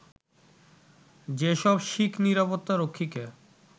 যেসব শিখ নিরাপত্তা রক্ষীকে